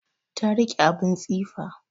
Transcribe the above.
Ta riƙe abun tsifa